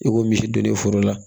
I ko misi donnen foro la